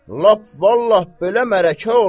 Lap vallah, belə mələkə olmaz.